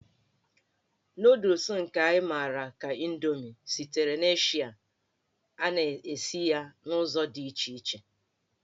Nụụdụls nke anyị mara ka Indomi sitere n'Eshịa, a na-esi ya n'ụzọ dị iche iche.